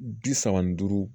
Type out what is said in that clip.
Bi saba ni duuru